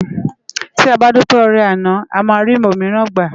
Ti á bá dúpé órè àná àmá ri ómirán gbá